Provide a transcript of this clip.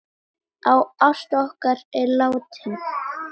Ásta okkar er látin.